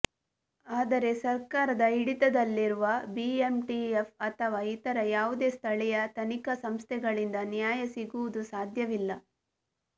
ಆದರೆ ಸರ್ಕಾರದ ಹಿಡಿತದಲ್ಲಿರುವ ಬಿಎಂಟಿಎಫ್ ಅಥವಾ ಇತರ ಯಾವುದೇ ಸ್ಥಳೀಯ ತನಿಖಾ ಸಂಸ್ಥೆಗಳಿಂದ ನ್ಯಾಯ ಸಿಗುವುದು ಸಾಧ್ಯವಿಲ್ಲ